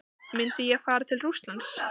Myndi ég fara til Rússlands?